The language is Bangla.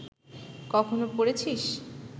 কখনো পড়েছিস